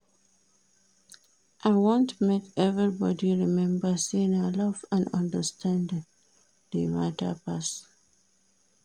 I want make everybodi rememba sey na love and understanding dey mata pass.